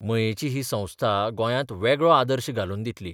मयेंची ही संस्था गोंयांत वेगळो आदर्श घालून दितली.